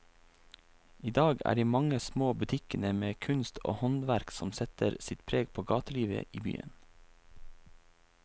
I dag er det de mange små butikkene med kunst og håndverk som setter sitt preg på gatelivet i byen.